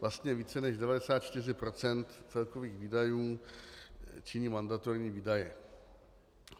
Vlastně více než 94 % celkových výdajů činí mandatorní výdaje.